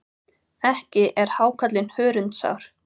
Ekki er hákarlinn hörundsár.